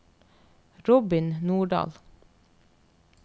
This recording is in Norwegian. Robin Nordal